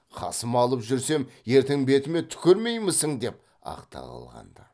қасыма алып жүрсем ертең бетіме түкірмеймісің деп ақталаған ды